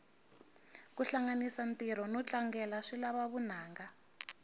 kuhlanganisa ntiro notlangela swilava vunanga